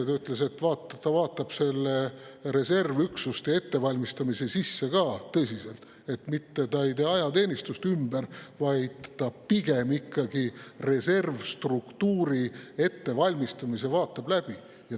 Ta ütles, et ta vaatab reservüksuste ettevalmistamisse tõsiselt sisse, mitte ei tee ajateenistust ümber, vaid pigem ikkagi vaatab üle reservstruktuuri ettevalmistamise.